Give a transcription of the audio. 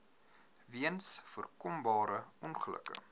weens voorkombare ongelukke